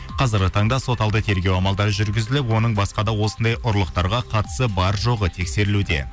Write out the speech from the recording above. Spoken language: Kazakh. қазіргі таңда соталды тергеу амалдары жүргізіліп оның басқа да осындай ұрлықтарға қатысы бар жоғы тексерілуде